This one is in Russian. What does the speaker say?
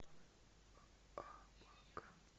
абакан